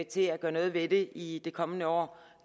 til at gøre noget ved det i det kommende år